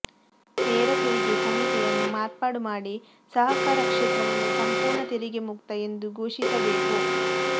ನೇರ ತೆರಿಗೆ ಸಂಹಿತೆಯನ್ನು ಮಾರ್ಪಾಡು ಮಾಡಿ ಸಹಕಾರ ಕ್ಷೇತ್ರವನ್ನು ಸಂಪೂರ್ಣ ತೆರಿಗೆ ಮುಕ್ತ ಎಂದು ಘೋಷಿಸಬೇಕು